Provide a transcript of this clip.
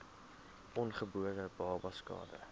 ongebore babas skade